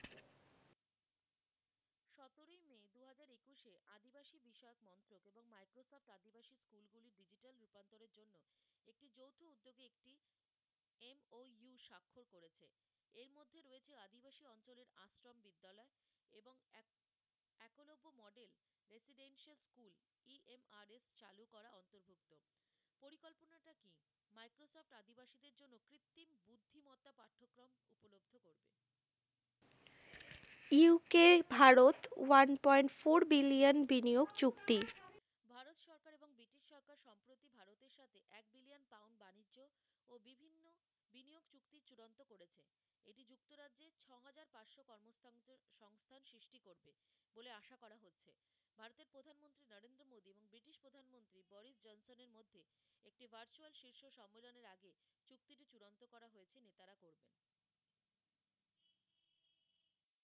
UK Bharat one point four billion বিনিয়োগ চুক্তি